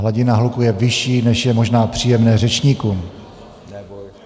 Hladina hluku je vyšší, než je možná příjemné řečníkům.